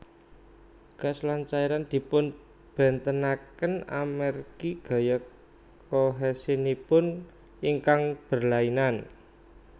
Gas lan cairan dipunbénténakén amérgi gaya kohèsinipun ingkang berlainan